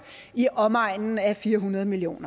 i omegnen af fire hundrede million